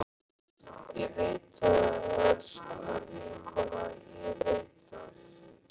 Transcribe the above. Ég veit það, elsku vinkona, ég veit það.